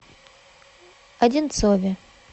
одинцове